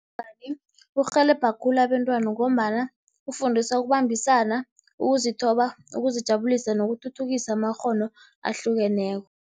Kurhelebha khulu abentwana ngombana kufundisa ukubambisana, ukuzithoba, ukuzijabulisa nokuthuthukisa amakghono ahlukeneko.